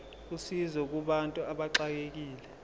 usizo kubantu abaxekekile